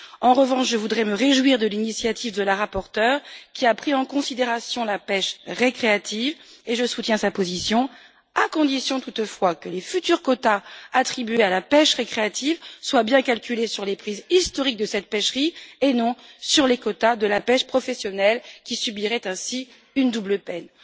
En revanche, je voudrais me réjouir de l'initiative de la rapporteure, qui a pris en considération la pêche récréative, et je soutiens sa position, à condition toutefois que les futurs quotas attribués à la pêche récréative soient bien calculés sur les prises historiques de cette pêcherie et non sur les quotas de la pêche professionnelle, qui subirait ainsi une double peine.